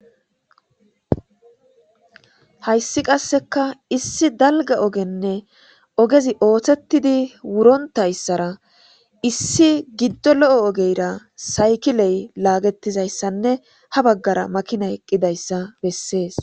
hayssi qasseka issi dalga ogenne ogezi ooththettidi wurontayssara issi giddo lo7o ogeyra saykiley laagettizayssanne ha baggara makina eqqidayssa bessees